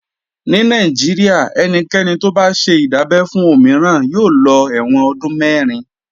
Ní Nàìjíríà ẹnikẹ́ni tó bá ṣe ìdábẹ́ fún òmíràn yóò lọ ẹ̀wọ̀n ọdún mẹ̀rin